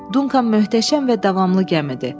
Dunkan möhtəşəm və davamlı gəmidir.